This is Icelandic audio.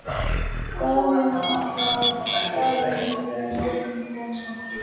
Daðína ætlaði að svara einhverju, en orðin komu ekki.